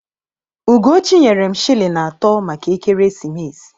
Ugochi nyere m shịlịn atọ maka ekeresimesi.